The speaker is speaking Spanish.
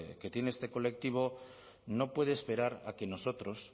que tiene este colectivo no puede esperar a que nosotros